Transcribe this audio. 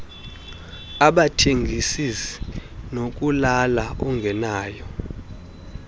abathengis ngokulala ungenayo